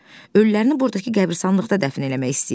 Ölülərini burdakı qəbristanlıqda dəfn eləmək istəyirlər.